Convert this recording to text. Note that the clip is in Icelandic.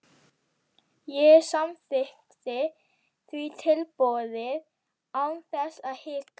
Ég samþykkti því tilboðið án þess að hika.